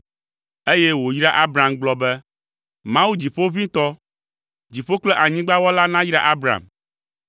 eye wòyra Abram gblɔ be, “Mawu Dziƒoʋĩtɔ, dziƒo kple anyigba wɔla nayra Abram,